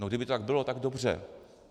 No kdyby to tak bylo, tak dobře.